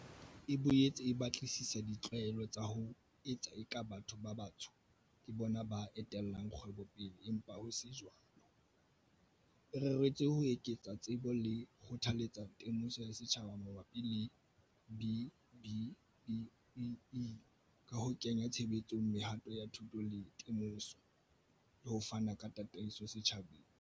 E boetse e batlisisa di tlwaelo tsa ho etsa eka batho ba batsho ke bona ba etellang kgwebo pele empa ho se jwalo, e reretswe ho eketsa tsebo le ho kgothaletsa temoso ya setjhaba mabapi le B-BBEE, ka ho kenya tshebetsong mehato ya thuto le temoso, le ho fana ka tataiso setjhabeng.